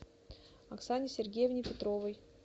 оксане сергеевне петровой